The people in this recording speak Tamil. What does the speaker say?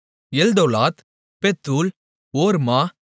எல்தோலாத் பெத்தூல் ஓர்மா